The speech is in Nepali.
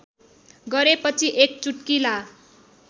गरेपछि एक चुट्किला